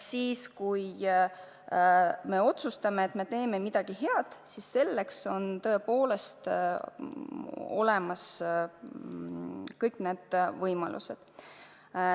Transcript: Kui me otsustame, et teeme midagi head, siis selleks on tõepoolest olemas kõik võimalused.